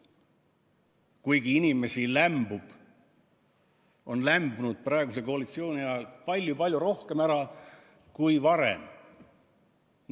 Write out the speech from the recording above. Kuigi inimesi on lämbunud praeguse koalitsiooni ajal palju-palju rohkem ära kui varem.